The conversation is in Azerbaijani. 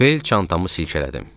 Bel çantamı silkələdim.